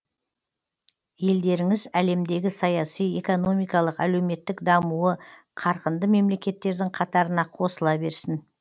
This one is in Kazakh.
елдеріңіз әлемдегі саяси экономикалық әлеуметтік дамуы қарқынды мемлекеттердің қатарына қосыла берсін